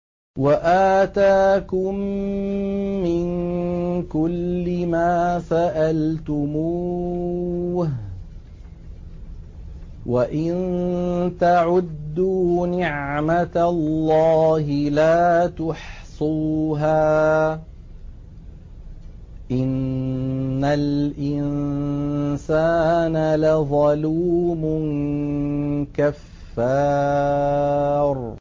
وَآتَاكُم مِّن كُلِّ مَا سَأَلْتُمُوهُ ۚ وَإِن تَعُدُّوا نِعْمَتَ اللَّهِ لَا تُحْصُوهَا ۗ إِنَّ الْإِنسَانَ لَظَلُومٌ كَفَّارٌ